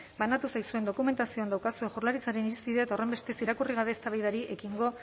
banatu zaizuen dokumentazioan daukazue jaurlaritzaren irizpidea eta horrenbestez irakurri gabe eztabaidari ekingo